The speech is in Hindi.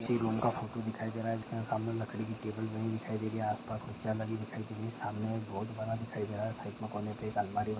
किसी एक रूम का फोटो दिखाई दे रहा है जिसमे सामने एक लकड़ी की टेबल बनी हुई दिखाई दे रही है आसपास कुछ चेहरे भी दिखाई दे रही है सामने एक बोर्ड बना दिखाई दे रहे हैं साइड में एक कोने में अलमारी बनी हुई दिखाई दे रही है।